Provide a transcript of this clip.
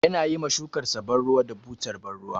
Yana yi ma shukarsa ban ruwa da butar ban ruwa.